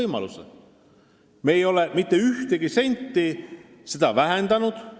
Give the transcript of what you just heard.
Me ei ole mitte ühegi sendi võrra seda vähendanud.